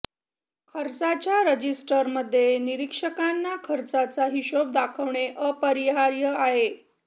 खर्चाच्या रजिस्टरमध्ये निरीक्षकांना खर्चाचा हिशेब दाखवणे अपरिहार्य आहे